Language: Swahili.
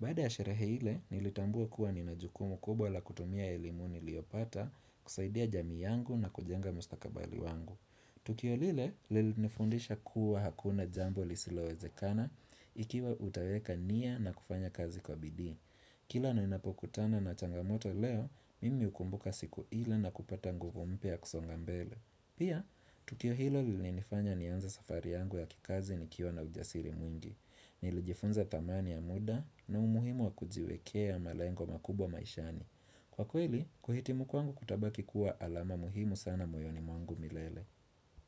Baada ya sherehe ile nilitambua kuwa ninajukumu kubwa la kutumia elimu niliyopata kusaidia jamii yangu na kujenga mustakabali wangu. Tukio lile, lili nifundisha kuwa hakuna jambo lisilowezekana ikiwa utaweka nia na kufanya kazi kwa bidii. Kila na inapokutana na changamoto leo, mimi hukumbuka siku ila na kupata nguvu mpya kusongambele. Pia, tukio hilo lili nifanya nianze safari yangu ya kikazi nikiwa na ujasiri mwingi. Nilijifunza dhamani ya muda na umuhimu wa kujiwekea malengo makubwa maishani. Kwa kweli, kuhiti mu kwangu kutabaki kuwa alama muhimu sana moyoni mwangu milele.